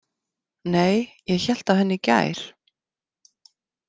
Nei, ég hélt á henni í gær